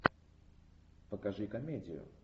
покажи комедию